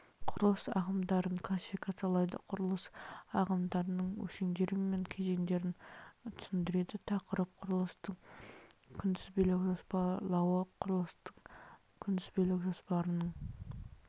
құрылыс ағымдарын классификациялайды құрылыс ағымдарының өлшемдері мен кезеңдерін түсіндіреді тақырып құрылыстың күнтізбелік жоспарлауы құрылыстың күнтізбелік жоспарының